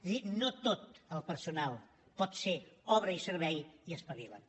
és a dir no tot el personal pot ser obra i servei i espavila’t